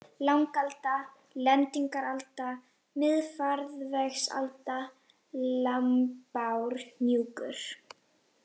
Langalda, Lendingaralda, Miðfarvegsalda, Lambárhnjúkur